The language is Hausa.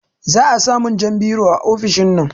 Za a samun jan biro a ofishinnan